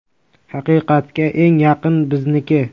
Haqiqatga eng yaqini bizniki.